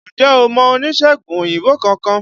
Ǹjẹ́ o mọ oníṣègùn òyìnbó kankan?